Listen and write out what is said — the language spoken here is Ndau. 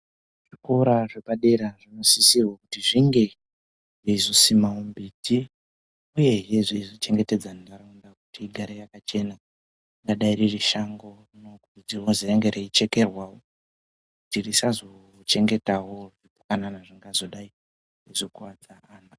Zvikora zvepadera zvinosisirwa kuzi zvinge zveizosima mimbiti uyehe dzei zochengetedza ndau kuti igare yakachena ingadai ririshango rinokuridzirwa kuzi ringe reichekerwawo kuti risazochengetawo kana zvingazodai zveikuwadza.